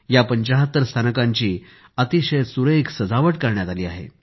या 75 स्थानकांची अतिशय सुरेख सजावट करण्यात आली आहे